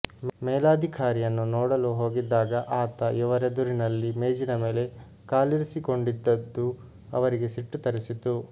ಮೇಲಾಧಿಕಾರಿಯನ್ನು ನೋಡಲು ಹೋಗಿದ್ದಾಗ ಆತ ಇವರೆದುರಿನಲ್ಲಿ ಮೇಜಿನ ಮೇಲೆ ಕಾಲಿರಿಸಿಕೊಂಡಿದ್ದದ್ದು ಅವರಿಗೆ ಸಿಟ್ಟು ತರಿಸಿತು